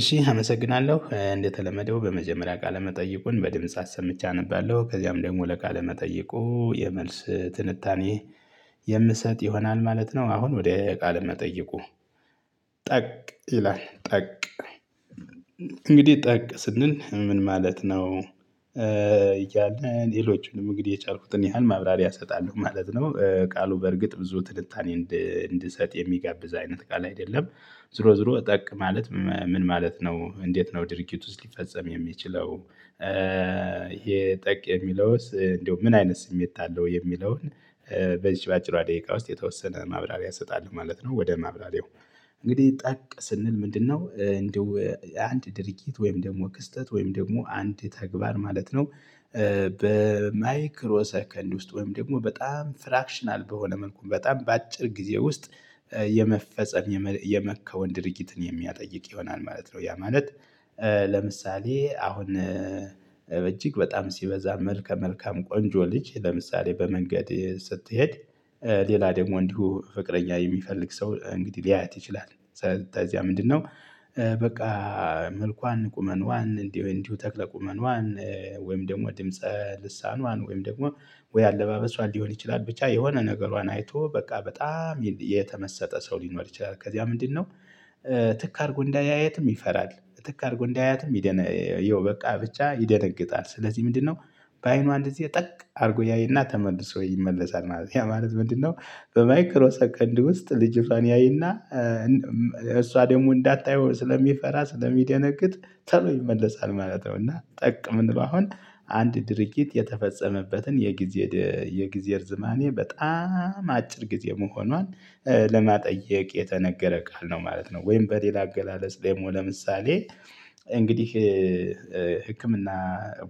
እሺ አመሰግናለሁ እንደተለመደው በመጀመሪያ ቃለመጠይቁን በድምጽ አሰምቼ አነባለሁ ከዚያም ደግሞ ለቃለ መጠየቁ የመልስ ትንታኔ የምሰጥ ይሆናል ማለት ነው። አሁን ወደ ቃል መጠየቁ። ጠቅ ይላል ጠቅ። እንግዲህ ጠቅ ስንል ምን ማለት ነው? እያለ ሌሎቹንም እንግዲህ የቻልኩትን ያህል ማብራሪያ እሰጣለሁ ማለት ነው። ቃሉ በርግጥ ብዙ ትንታኔ እንድሰጥ የሚጋብዝ አይነት ቃል አይደለም። ዙሮ ዙሮ ጠቅ ማለት ምን ማለት ነው? እንዴት ነው? ድርጊት ውስጥ ሊፈጸም የሚችለው። ይሄ ጠቅ የሚለውስ እንደው ምን አይነት ስሜት አለው? የሚለውን በዚህ በአጭሯ ደቂቃ ውስጥ የተወሰነ ማብራሪያ እሰጣለሁ ማለት ነው። ወደ ማብራሪያው እንግዲህ ጠቅ ስንል ምንድነው እንደው አንድ ድርጊት ወይም ደግሞ ክስተት ወይም ደግሞ አንድ ተግባር ማለት ነው። በማይክሮ ሰከንድ ውስጥ ወይም ደግሞ በጣም ፍራክሽናል በሆነ መልኩ በጣም በአጭር ጊዜ ውስጥ። የመፈጸም የመከወን ድርጊትን የሚያጠይቅ ይሆናል ማለት ነው። ያ ማለት። ለምሳሌ አሁን እጅግ በጣም ሲበዛ መልከ መልካም ቆንጆ ልጅ ለምሳሌ በመንገድ ስትሄድ። ሌላ ደግሞ እንዲሁ ፍቅረኛ የሚፈልግ ሰው እንግዲህ ሊያያት ይችላል። ከዚያ ምንድነው? በቃ መልኳን ቁመንዋን እንዲህ እንዲህ ተክለ ቁመነዋን ወይም ደግሞ ድምጽ ልሳንዋን ወይም ደግሞ ወይ አለባበሷን ሊሆን ይችላል ብቻ የሆነ ነገሯን አይቶ በቃ በጣም የተመሰጠ ሰው ሊኖር ይችላል። ከዚያ ምንድነው? ትክ አድርጎ እንዳያየትም ይፈራል። ትክ አድርጎ እንዳያየትም በቃ ብቻ ይደነግጣል። ስለዚህ ምንድነው? በአይኗ እንደዚህ ጠቅ አድርጎ ያየና ተመልሶ ይመለሳል። ማለት ያ ማለት ምንድነው? በማይክሮ ሰከንድ ውስጥ ልጅቷን ያይና። እሷ ደግሞ እንዳታየው ስለሚፈራ ስለሚደነግጥ ተሎ ይመለሳል ማለት ነው። እና ጠቅ የምንለው አሁን አንድ ድርጊት የተፈጸመበትን የጊዜ የጊዜ እርዝማኔ በጣም አጭር ጊዜ መሆኗን ለማጠየቅ የተነገረ ቃል ነው ማለት ነው። ወይም በሌላ አገላለጽ ደግሞ ለምሳሌ እንግዲህ ህክምና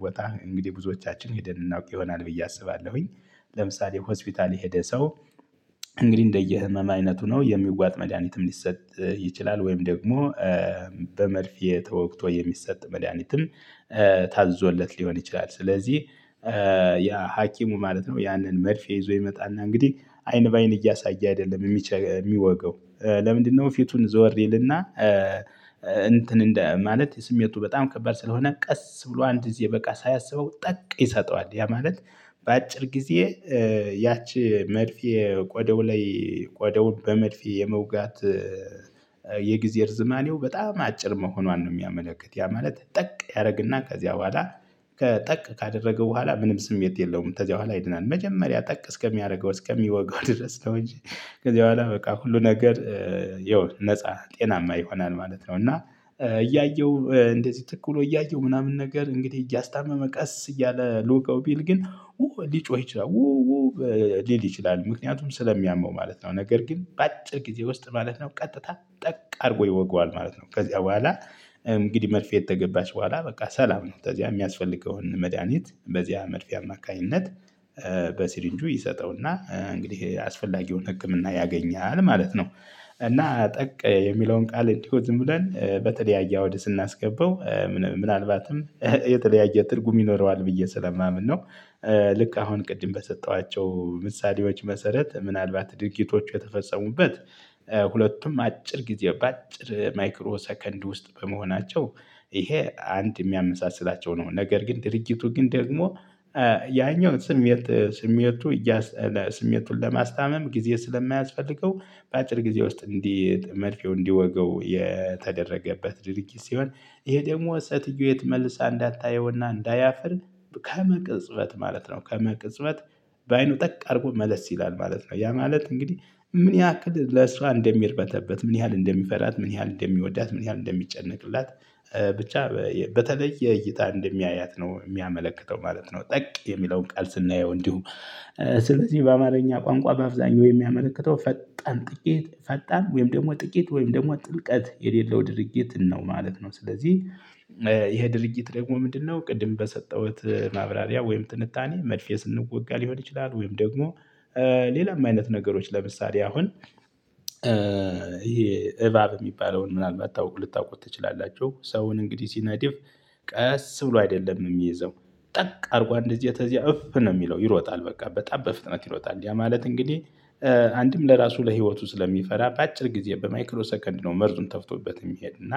ቦታ እንግዲህ ብዙዎቻችን ሄደን እናውቅ ይሆናል ብዬ አስባለሁኝ። ለምሳሌ ሆስፒታል የሄደ ሰው። እንግዲህ እንደየህመም አይነቱ ነው የሚዋጥ መድሃኒትም ሊሰጥ ይችላል። ወይም ደግሞ በመርፌ ተወግቶ የሚሰጥ መድሃኒትም ታዞለት ሊሆን ይችላል። ስለዚህ ያ ሀኪሙ ማለት ነው ያንን መርፌ ይዞ ይመጣና እንግዲህ አይን በአይን እያሳየ አይደለም የሚወጋው። ለምንድነው? ፊቱን ዞር ይልና እንትን እንደ ማለት ስሜቱ በጣም ከባድ ስለሆነ ቀስ ብሎ አንድ ጊዜ በቃ ሳያሰበው ጠቅ ይሰጠዋል። ያ ማለት። በአጭር ጊዜ ያቺ መድፍ ቆደው ላይ ቆደውን በመድፍ የመውጋት የጊዜር እርዝማኔው በጣም አጭር መሆኗን ነው የሚያመለክት። ያ ማለት ጠቅ ያደርግና ከዚያ በኋላ ጠቅ ካደረገ በኋላ ምንም ስሜት የለውም። ከዚያ በኋላ ይድናል። መጀመሪያ ጠቅ እስከሚያደርገው እስከሚወገው ድረስ ነው እንጂ። ከዚህ በኋላ በቃ ሁሉ ነገር የሆነ ነፃ ጤናማ ይሆናል ማለት ነው። እና እያየሁ እንደዚህ ትክ ብሎ እያየሁ ምናምን ነገር እንግዲህ እያስታመመ ቀስ እያለ ሊወጋው ቢል ግን ሊጮህ ይችላል። ሊል ይችላል ምክንያቱም ስለሚያመው ማለት ነው። ነገር ግን በአጭር ጊዜ ውስጥ ማለት ነው። ቀጥታ ጠቅ አድርጎ ይወገዋል ማለት ነው። ከዚያ በኋላ እንግዲህ መርፌ ከገባች በኋላ በቃ ሰላም ነው። ከዚያ የሚያስፈልገውን መድሃኒት በዚያ መርፌ አማካኝነት በሲሪንጁ ይሰጠውና እንግዲህ አስፈላጊውን ህክምና ያገኛል ማለት ነው። እና ጠቅ የሚለውን ቃል እንዲሁ ዝም ብለን በተለያየ አውድ ስናስገባው ምናልባትም የተለያየ ትርጉም ይኖረዋል ብዬ ስለማምን ነው። ልክ አሁን ቅድም በሰጠኋቸው ምሳሌዎች መሰረት ምናልባት ድርጊቶቹ የተፈጸሙበት ሁለቱም አጭር ጊዜ በአጭር ማይክሮ ሰከንድ ውስጥ በመሆናቸው ይሄ አንድ የሚያመሳስላቸው ነው። ነገር ግን ድርጅቱ ግን ደግሞ ያኛው ስሜት ስሜቱን ለማስታመም ጊዜ ስለማያስፈልገው። በአጭር ጊዜ ውስጥ እንዲህ መርፌው እንዲወገው የተደረገበት ድርጊት ሲሆን። ይሄ ደግሞ ሰትየይቱ መልሳ እንዳታየውና እንዳያፍር ከመቅጽበት ማለት ነው። ከመቅጽበት በአይኑ ጠቅ አድርጎ መለስ ይላል ማለት ነው። ያ ማለት እንግዲህ ምን ያክል ለሷራ እንደሚርበተበት ምን ያህል እንደሚፈራት ምን ያህል እንደሚወዳት ምን ያህል እንደሚጨነቅላት። ብቻ በተለየ እይታ እንደሚያያት ነው የሚያመለክተው ማለት ነው። ጠቅ የሚለውን ቃል ስናየው እንዲሁ። ስለዚህ በአማርኛ ቋንቋ በአብዛኛው የሚያመለክተው ጠቅ ፈጣን ጥቂት ፈጣን ወይም ደግሞ ጥቂት ወይም ደግሞ ጥልቀት የሌለው ድርጊት ነው ማለት ነው። ስለዚህ። ይሄ ድርጊት ደግሞ ምንድነው? ቅድም በሰጠሁት ማብራሪያ ወይም ትንታኔ መድፌ ስንወጋ ሊሆን ይችላል። ወይም ደግሞ ሌላም አይነት ነገሮች ለምሳሌ አሁን ይሄ እባብ የሚባለውን ምናልባት ልታውቁ ትችላላችሁ። ሰውን እንግዲህ ሲነድፍ። ቀስ ብሎ አይደለም የሚይዘው። ጠቅ አድርጓ አንድ ጊዜ ከዚያ እፍ ነው የሚለው ይሮጣል በቃ በጣም በፍጥነት ይሮጣል። ያ ማለት እንግዲህ አንድም ለራሱ ለህይወቱ ስለሚፈራ በአጭር ጊዜ በማይክሎ ሰከንድ ነው። መርዙም ተፍቶበት የሚሄድ እና